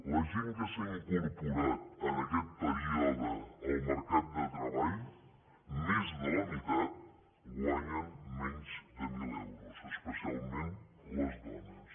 la gent que s’ha incorporat en aquest període al mercat de treball més de la meitat guanyen menys de mil euros especialment les dones